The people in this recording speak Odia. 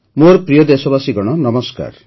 ମୋର ପ୍ରିୟ ଦେଶବାସୀଗଣ ନମସ୍କାର